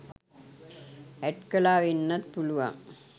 ඇට් කළා වෙන්නත් පුළුවන්